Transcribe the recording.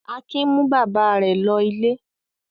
Akin mú bàbá rẹ̀ lọ ilé.